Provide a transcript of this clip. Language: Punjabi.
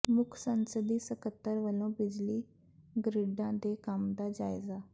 ਮੁੱਖ ਸੰਸਦੀ ਸਕੱਤਰ ਵੱਲੋਂ ਬਿਜਲੀ ਗਰਿੱਡਾਂ ਦੇ ਕੰਮ ਦਾ ਜਾਇਜ਼ਾ